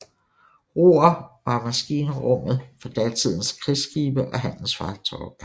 Roere var maskinrummet for datidens krigsskibe og handelsfartøjer